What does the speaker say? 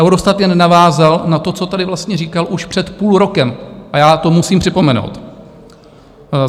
Eurostat jen navázal na to, co tady vlastně říkal už před půl rokem, a já to musím připomenout.